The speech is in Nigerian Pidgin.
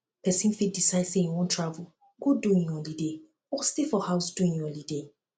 persin fit decide say im won travel go do im holiday or stay for house do im holiday